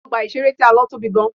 Ọgbà ìṣeré tí a lọ tóbi gan.